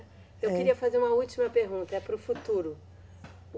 Eu queria fazer uma última pergunta, é para o futuro.